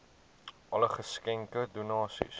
alle geskenke donasies